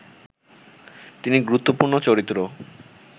তিনি গুরুত্বপূর্ণ চরিত্র